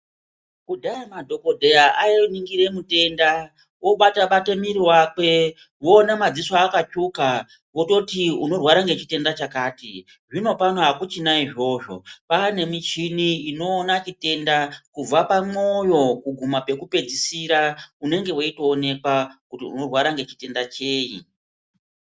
Kudhaya madhokodheya ainingire mutenda obatabata mwiri wakwe voona madziso akatsvuka, vototi unorware ngechitenda chakati, zvinopano akuchina izvozvo kwaane michini inoona chitenda kubva pamwoyo kuguma pekupedzisira unonge weitoonekwa kuti unorwara ngechitenda cheyi.